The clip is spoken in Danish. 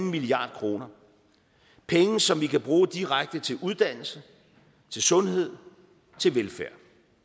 milliard kroner penge som vi kan bruge direkte til uddannelse til sundhed til velfærd